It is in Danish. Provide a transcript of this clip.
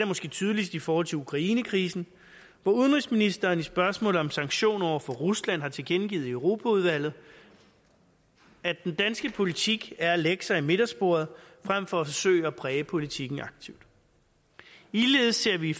måske tydeligst i forhold til ukrainekrisen hvor udenrigsministeren i spørgsmålet om sanktioner over for rusland har tilkendegivet i europaudvalget at den danske politik er at lægge sig i midtersporet frem for at forsøge at præge politikken aktivt ligeledes ser vi i